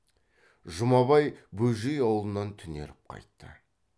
жұмабай бөжей аулынан түнеріп қайтты